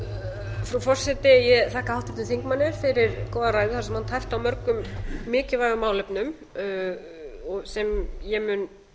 frú forseti ég þakka háttvirtum þingmanni fyrir góða ræðu þar sem hann tæpti á mörgum mikilvægum málefnum sem ég